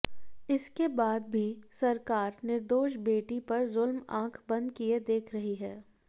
इसके बाद भी सरकार निर्दोष बेटी पर जुल्म आंख बंद किए देख रही है